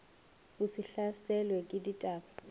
o se hlaselwe ke dibata